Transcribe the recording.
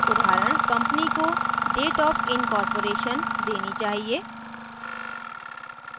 उदाहरण: company को dateofincorporation निगमीकरण की तिथि देनी चाहिए